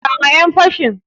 Kama ƴan fashin.